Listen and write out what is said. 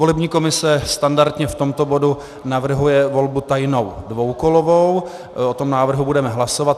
Volební komise standardně v tomto bodu navrhuje volbu tajnou dvoukolovou, o tom návrhu budeme hlasovat.